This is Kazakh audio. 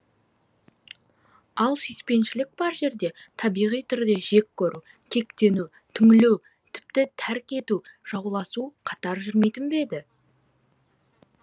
ал сүйіспеншілік бар жерде табиғи түрде жек көру кектену түңілу тіпті тәрк ету жауласу қатар жүрмейтін бе еді